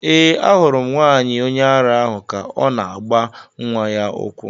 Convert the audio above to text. Ee, ahụrụ m nwanyị onye ara ahụ ka ọ na-agba nwa ya ụkwụ.